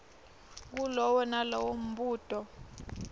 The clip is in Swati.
kulowo nalowo mbuto